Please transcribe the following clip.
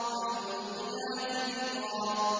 فَالْمُلْقِيَاتِ ذِكْرًا